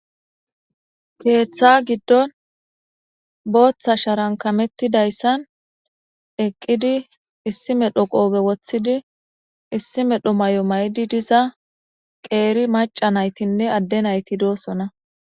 Keeththa giddon booththa sharankamettidayssan eqqidi issi medho qoobe woththidi issi medho may7o may7di diza qeeri maca naytinne adde nayti doossona